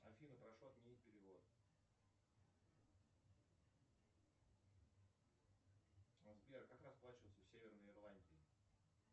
афина прошу отменить перевод сбер как расплачиваются в северной ирландии